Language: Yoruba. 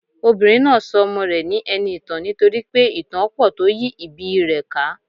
Obìnrin náà so ọmọ rè ní eniìtàn nítorípé ìtàn á pò tó yí ìbí i rè ká